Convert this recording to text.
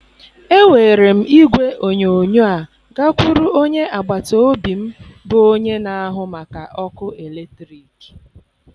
Ewere m igwe onyonyo a gakwuru onye agbata obi m bụ onye na-ahụ maka ọkụ eletrik